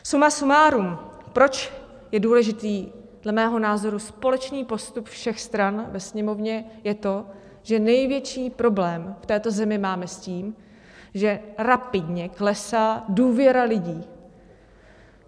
Suma sumárum, proč je důležitý dle mého názoru společný postup všech stran ve Sněmovně, je to, že největší problém v této zemi máme s tím, že rapidně klesá důvěra lidí.